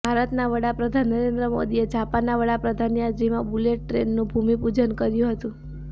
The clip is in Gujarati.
ભારતના વડાપ્રધાન નરેન્દ્ર મોદીએ જાપાનના વડાપ્રધાનની હાજરીમાં બુલેટટ્રેનનું ભૂમિ પૂજન કર્યુ હતું